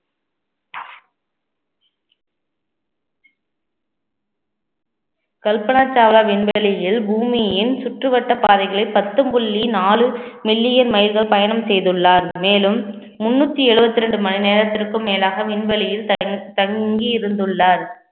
கல்பனா சாவ்லா விண்வெளியில் பூமியின் சுற்றுவட்டப் பாதைகளில் பத்து புள்ளி நாலு million மைல்கள் பயணம் செய்துள்ளார் மேலும் முன்னூத்தி எழுபத்தி இரண்டு மணி நேரத்திற்கும் மேலாக விண்வெளியில் தங்~ தங்கி இருந்துள்ளார்